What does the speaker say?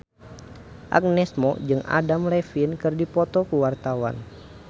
Agnes Mo jeung Adam Levine keur dipoto ku wartawan